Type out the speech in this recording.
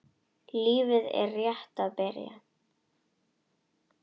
Lífið er rétt að byrja.